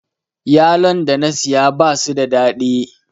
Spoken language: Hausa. Yalon da na siya basu da daɗi